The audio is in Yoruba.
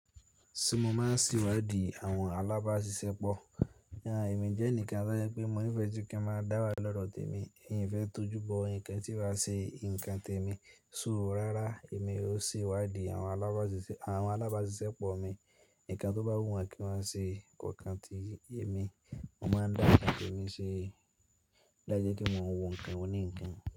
Ṣé mo máa ṣe iwádí àwọn alábáṣiṣẹ́pọ̀? Ìwà èmi jẹ́ ẹnìkan tí a mọ̀ pé mo nífẹ̀ẹ́ sí ǹkan máa dáwà lọ́rọ̀ té mi, ẹmi ífẹ̀ẹ́ tọ́jú bọ ǹkan tí ó bá ṣe ǹkan té mi. Suúrú rárá èmi ó se wádìí àwọn alábáṣiṣẹ́pọ̀ mi. Ǹkan tó bá wù wọ́n kí wọ́n ṣe kokan tí ẹ̀ mi, mo máa dá ǹkan té mi ṣe láijẹ́ pe mo ń wo ǹkan oní ǹkan.